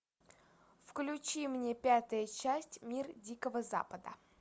включи мне пятая часть мир дикого запада